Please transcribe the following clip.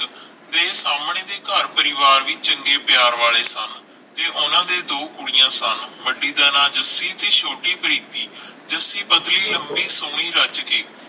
ਫਿਰ ਸਾਮਣੇ ਵੀ ਘਰ ਪਰਿਵਾਰ ਵੀ ਚੰਗੇ ਪਿਆਰ ਵਾਲੇ ਸਨ ਤੇ ਓਹਨਾ ਦੇ ਦੋ ਕੁੜੀਆਂ ਸਨ ਵੱਡੀ ਦਾ ਨਾਂ ਜੱਸੀ ਤੇ ਛੋਟੀ ਪ੍ਰੀਤਿ ਜੱਸੀ ਪਤਲੀ ਲੰਬੀ ਸੋਹਣੀ ਰੱਜ ਕੇ